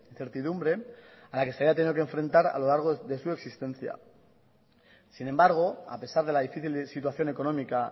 a la que se haya tenido que enfrentar a lo largo de su existencia sin embargo a pesar de la difícil situación económica